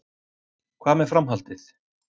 Hvað með framhaldið